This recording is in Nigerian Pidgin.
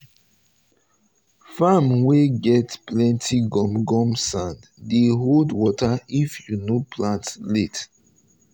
farm wey farm wey get plenty gum gum sand dey hold water if you no plant late.